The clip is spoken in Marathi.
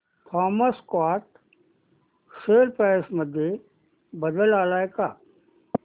थॉमस स्कॉट शेअर प्राइस मध्ये बदल आलाय का